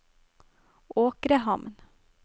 Åkrehamn